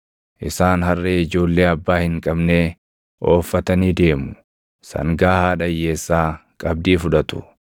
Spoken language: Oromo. Isaan harree ijoollee abbaa hin qabnee ooffatanii deemu; sangaa haadha hiyyeessaa qabdii fudhatu.